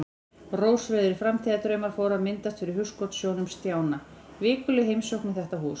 Rósrauðir framtíðardraumar fóru að myndast fyrir hugskotssjónum Stjána: Vikuleg heimsókn í þetta hús.